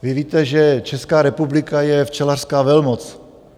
Vy víte, že Česká republika je včelařská velmoc.